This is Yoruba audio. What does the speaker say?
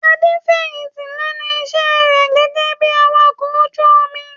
Adé fẹ̀yìntì lẹ́nu iṣẹ́ rẹ̀ gẹ́gẹ́ bí Awakọ̀ ojú omi.